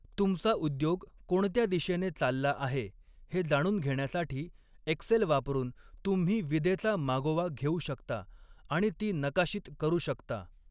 तुमचा उद्योग कोणत्या दिशेने चालला आहे हे जाणून घेण्यासाठी, एक्सेल वापरून तुम्ही विदेचा मागोवा घेऊ शकता आणि ती नकाशित करू शकता.